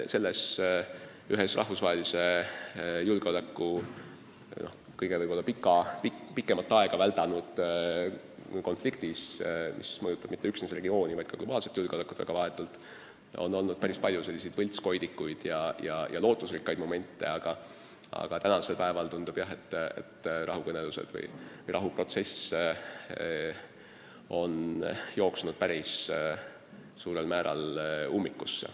Selles ühes rahvusvahelise julgeoleku kõige pikemat aega väldanud konfliktis, mis ei mõjuta üksnes seda regiooni, vaid vahetult ka globaalset julgeolekut, on olnud päris palju selliseid võltskoidikuid ja lootusrikkaid momente, aga tänasel päeval paraku tundub, et rahuprotsess on jooksnud päris suurel määral ummikusse.